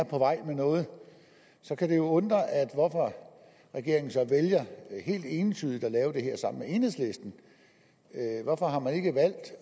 på vej med noget så kan det jo undre at regeringen vælger helt entydigt at lave det her sammen med enhedslisten hvorfor har man ikke valgt